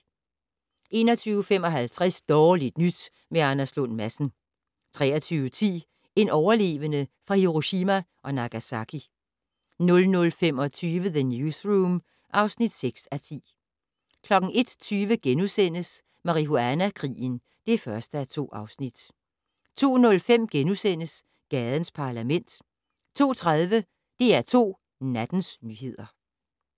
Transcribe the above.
21:55: Dårligt nyt med Anders Lund Madsen 23:10: En overlevende fra Hiroshima og Nagasaki 00:25: The Newsroom (6:10) 01:20: Marihuana-krigen (1:2)* 02:05: Gadens Parlament * 02:30: DR2 Nattens nyheder